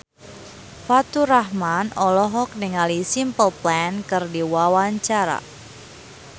Faturrahman olohok ningali Simple Plan keur diwawancara